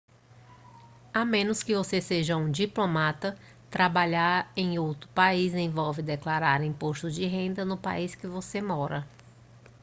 a menos que você seja um diplomata trabalhar em outro país envolve declarar imposto de renda no país que você mora